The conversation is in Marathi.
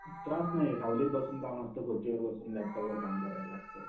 त्रास नाहीये सावलीत बसून काम असतं.खुर्चीवर बसून लॅपटॉपवर काम करायच असत.